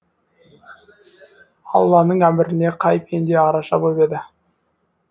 алланың әміріне қай пенде араша боп еді